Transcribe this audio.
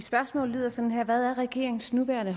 nuværende